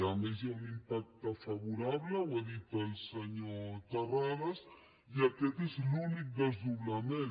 a més hi ha un impacte favorable ho ha dit el senyor terrades i aquest és l’únic desdoblament